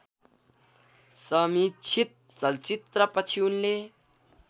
समीक्षित चलचित्रपछि उनले